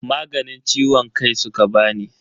Maganin ciwon kai suka bani.